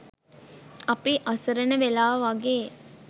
අපි අසරණ වෙලා වගේ